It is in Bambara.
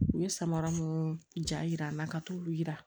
U ye samara minnu jar'an na ka t'olu yira